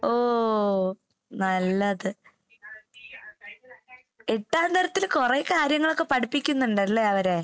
ഓ നല്ലത്. എട്ടാം തരത്തില് കൊറേ കാര്യങ്ങളൊക്കെ പഠിപ്പിക്കുന്നുണ്ടല്ലേ അവരെ?